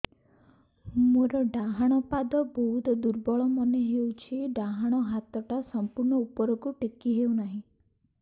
ମୋର ଡାହାଣ ପାଖ ବହୁତ ଦୁର୍ବଳ ମନେ ହେଉଛି ଡାହାଣ ହାତଟା ସମ୍ପୂର୍ଣ ଉପରକୁ ଟେକି ହେଉନାହିଁ